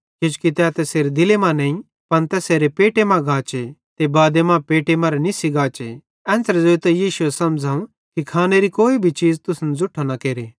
किजोकि तै तैसेरे दिले मां नईं पन तैसेरे पेटे मां गाचे ते बादे मां पेटे मरां निस्सी गाचे एन ज़ोइतां यीशुए समझ़ावं कि खानेरी चीज़ कोई भी असन ज़ुट्ठो न केरे